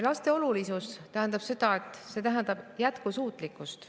Laste olulisus jätkusuutlikkuses.